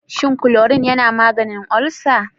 Shin klorin yana maganin ulcer?